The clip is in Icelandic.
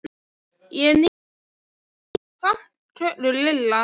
Ég er níu ára og er samt kölluð Lilla.